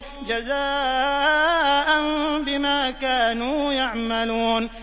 جَزَاءً بِمَا كَانُوا يَعْمَلُونَ